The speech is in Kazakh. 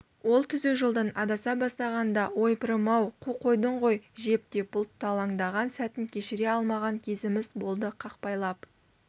ол түзу жолдан адаса бастағанда ойпырым-ай қу қойдың ғой жеп деп бұлталаңдаған сәтін кешіре алмаған кезіміз болды қақпайлап